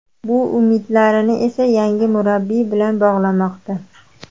Bu umidlarini esa yangi murabbiy bilan bog‘lamoqda.